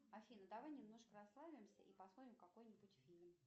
афина давай немножко расслабимся и посмотрим какой нибудь фильм